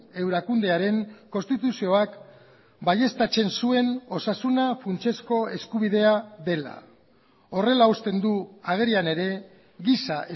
erakundearen konstituzioak baieztatzen zuen osasuna funtsezko eskubidea dela horrela uzten du agerian ere giza